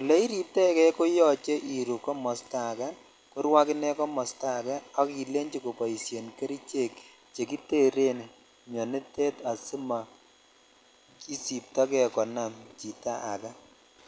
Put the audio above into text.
ole iriptoi kei koyoche iruu komosto ake koru ak ine komosto ake ak ilenchi koboishen kerichek chekiteren mionitet asimoisipto jei konam chito ake.